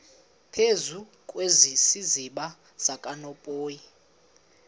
phezu kwesiziba sikanophoyi